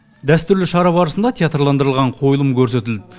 дәстүрлі шара барысында театрландырылған қойылым көрсетілді